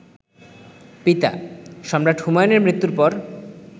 পিতা, সম্রাট হুমায়ুনের মৃত্যুর পর